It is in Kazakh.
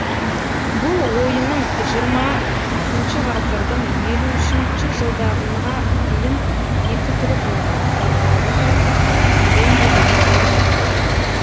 бұл ойынның жиырмасыншы ғасырдың елуінші жылдарына дейін екі түрі болған батыс еуропалық хоккей бенди және орыс хоккейі